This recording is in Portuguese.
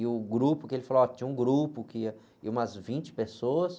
E o grupo que ele falou, ó, que tinha um grupo que ía, ía umas vinte pessoas,